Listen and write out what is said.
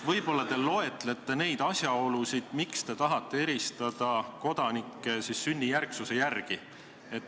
Võib-olla te loetlete neid asjaolusid, miks te tahate eristada kodanikke sünnijärgsuse järgi.